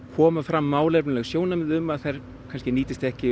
koma fram málefnaleg sjónarmið um að þær nýtist ekki